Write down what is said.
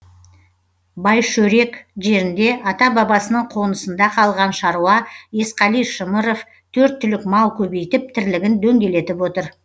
байшөрек жерінде ата бабасының қонысында қалған шаруа есқали шымыров төрт түлік мал көбейтіп тірлігін дөңгелетіп отыр